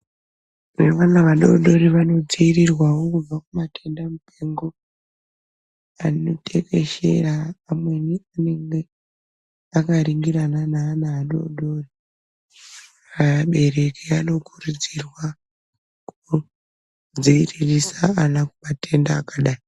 Vamweni vana vadodori vanodziirirwawo kubva kumatenda mupengo anotekeshera amweni anenge akaringirana neana adodori . Vabereki vanokurudzirwa kundodziiririsa vana kumatenda akadai.